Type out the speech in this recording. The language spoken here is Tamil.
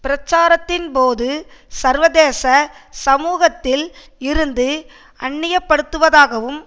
பிரச்சாரத்தின் போது சர்வதேச சமூகத்தில் இருந்து அந்நியப்படுவதாகவும்